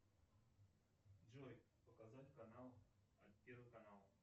джой показать канал первый канал